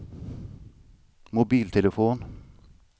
mobiltelefon